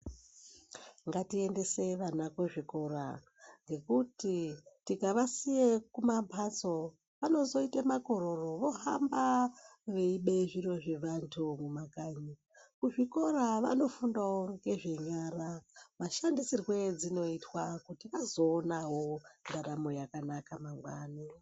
Ngatiendese vana kuzvikora ngekuti tikavasiye kuma mpaso anozoite makororo vohamba weibe zviro zvevantu mumakhanyi .Kuzvikora vanofundawo ngezve nyara mashandisirwe edzinoitwa kuti azoonawo ndaramo yakanaka mangwani.